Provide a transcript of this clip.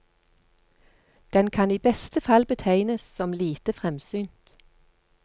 Den kan i beste fall betegnes som lite fremsynt.